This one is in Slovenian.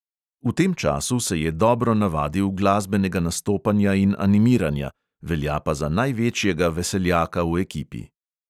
V tem času se je dobro navadil glasbenega nastopanja in animiranja, velja pa za največjega veseljaka v ekipi.